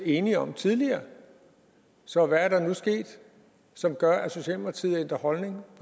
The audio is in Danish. enige om tidligere så hvad er der nu sket som gør at socialdemokratiet har ændret holdning